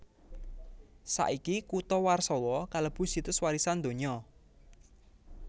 Saiki kutha Warsawa kalebu Situs Warisan Donya